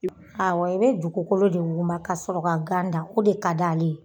Awɔ i bɛ dugukolo de wuguba k'a sɔrɔ ka gan dan o de ka d'ale ye.